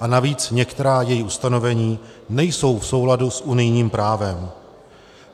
a navíc některá její ustanovení nejsou v souladu s unijním právem.